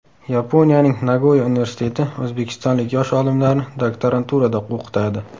Yaponiyaning Nagoya universiteti o‘zbekistonlik yosh olimlarni doktoranturada o‘qitadi.